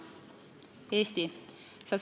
"Eesti!